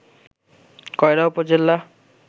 কয়রা উপজেলা